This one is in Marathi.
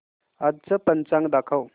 आजचं पंचांग दाखव